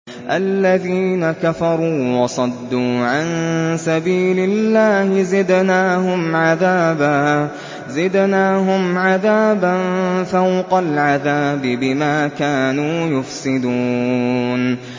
الَّذِينَ كَفَرُوا وَصَدُّوا عَن سَبِيلِ اللَّهِ زِدْنَاهُمْ عَذَابًا فَوْقَ الْعَذَابِ بِمَا كَانُوا يُفْسِدُونَ